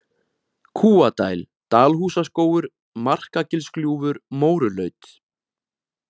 Kúadæl, Dalhúsaskógur, Markagilsgljúfur, Mórulaut